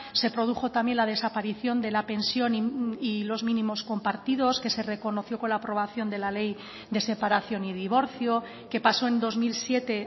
se produjo también la desaparición de la pensión y los mínimos compartidos que se reconoció con la aprobación de la ley de separación y divorcio que pasó en dos mil siete